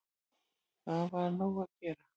Það var nóg að gera